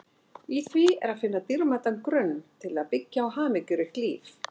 Í því er að finna dýrmætan grunn til að byggja á hamingjuríkt líf.